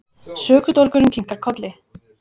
Sökudólgurinn kinkar kolli.